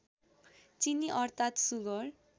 चिनी अर्थात सुगर